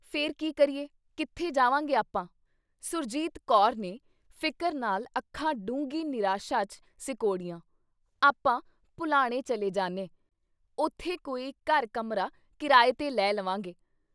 ਫਿਰ ਕੀ ਕਰੀਏ ? ਕਿੱਥੇ ਜਾਵਾਂਗੇ ਆਪਾਂ ? ਸੁਰਜੀਤ ਕੌਰ ਨੇ ਫ਼ਿਕਰ ਨਾਲ ਅੱਖਾਂ ਡੂੰਘੀ ਨਿਰਾਸ਼ਾ 'ਚ ਸਿਕੋੜੀਆਂ। ਆਪਾਂ ਭੁਲਾਣੇ ਚਲੇ ਜਾਨੇ ! ਉੱਥੇ ਕੋਈ ਘਰ ਕਮਰਾ ਕਿਰਾਏ ਤੇ ਲੈ ਲਵਾਂਗੇ ।